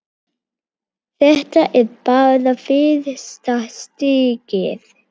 Þetta er bara fyrsta stigið.